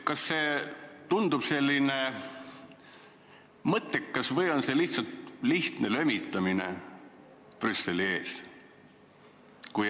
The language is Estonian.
Kas see tundub ikka mõttekas või on tegu lihtsalt lömitamisega Brüsseli ees?